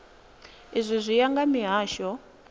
izwi zwi ya nga mihasho